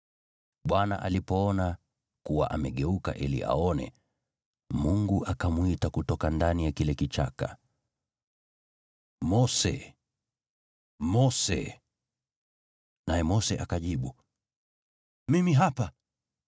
Bwana alipoona kuwa amegeuka ili aone, Mungu akamwita kutoka ndani ya kile kichaka, “Mose! Mose!” Naye Mose akajibu, “Mimi hapa.”